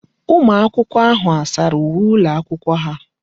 Ụmụaka ahụ a sara uwe ụlọakwụkwọ ha?